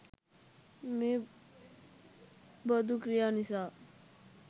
මේ බඳු ක්‍රියා නිසා